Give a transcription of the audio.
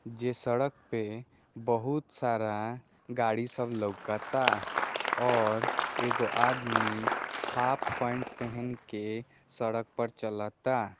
जे सड़क पे बहुत सारा गाड़ी सब लकता और एको आदमी हाफ पेंट पहन के सड़क पर चलता।